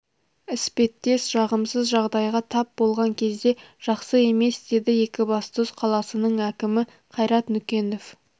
іспеттес жағымсыз жағдайға тап болған кезде жақсы емес деді екібастұз қаласының әкімі қайрат нүкенов